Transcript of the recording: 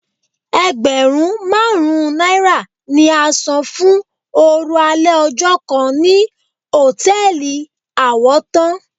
Ẹgbẹ̀rún márùn-ún náírà ni a sàn fún oorun alẹ́ ọjọ́ kan ní hòtẹ́ẹ̀lì Àwọ́tán.